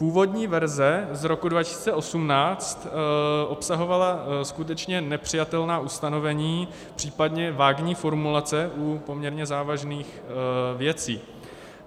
Původní verze z roku 2018 obsahovala skutečně nepřijatelná ustanovení, případně vágní formulace u poměrně závažných věcí.